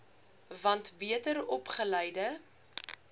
want beter opgeleide